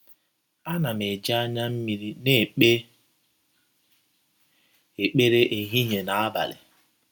Ana m eji anya mmiri na - ekpe ekpere ehihie na abalị.